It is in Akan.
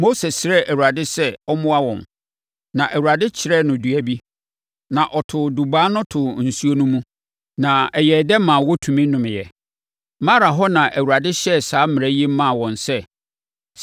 Mose srɛɛ Awurade sɛ ɔmmoa wɔn, na Awurade kyerɛɛ no dua bi. Na ɔtoo dubaa no too nsuo no mu, na ɛyɛɛ dɛ maa wɔtumi nomeeɛ. Mara hɔ na Awurade hyɛɛ saa mmara yi maa wɔn sɛ,